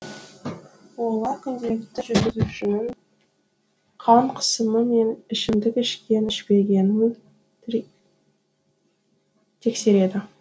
олар күнделікті жүргізушінің қан қысымы мен ішімдік ішкен ішпегенін тексереді